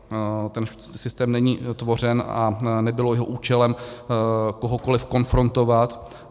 Ten systém není tvořen a nebylo jeho účelem kohokoli konfrontovat.